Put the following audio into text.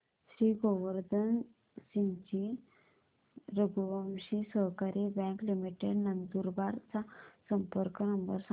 श्री गोवर्धन सिंगजी रघुवंशी सहकारी bank limited Nandurbar चा संपर्क नंबर सांगा